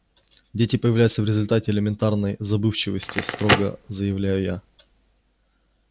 дети появляются в результате элементарной забывчивости строго заявляю я